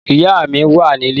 Ìyá mi wà nilé